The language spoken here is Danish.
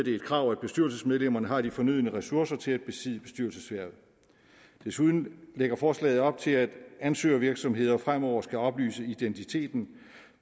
et krav at bestyrelsesmedlemmerne har de fornødne ressourcer til at besidde bestyrelseshvervet desuden lægger forslaget op til at ansøgervirksomheder fremover skal oplyse identiteten